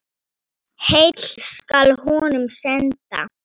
Heill skal honum senda.